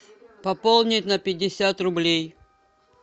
пополнить на пятьдесят рублей